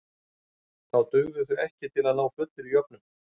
Þá dugðu þau ekki til að ná fullri jöfnun.